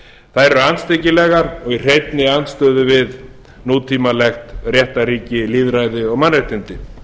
þær eru andstyggilegar og í hreinni andstöðu við nútímalegt réttarríki lýðræði og mannréttindi